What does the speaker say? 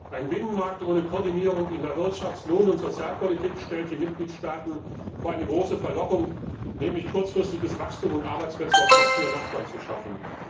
Ein Binnenmarkt ohne Koordinierung in der Wirtschafts Lohn und Sozialpolitik stellt die Mitgliedstaaten vor eine große Verlockung, nämlich kurzfristiges Wachstum und Arbeitsplätze auf Kosten der Nachbarn zu schaffen.